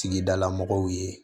Sigidala mɔgɔw ye